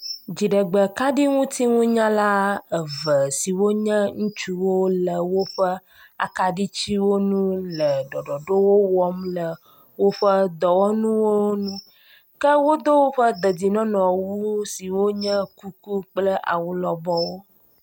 Dziɖegbekaɖiŋuti ŋunyala eve siwonye ŋutsuwó le woƒe akaɖitsiwonu le ɖɔɖɔɖowowɔm le woƒe dɔwɔnuwonu, ke wódo wóƒe dedinɔnɔwu siwo nye kuku kple awu lɔbɔwo